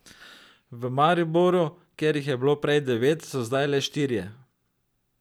V Mariboru, kjer jih je bilo prej devet, so zdaj le štirje.